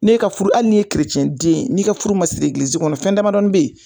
N'e ka furu hali n'i ye keretiyɛn den ye n'i ka furu ma siri egilizi kɔnɔ fɛn damadɔni n bɛ yen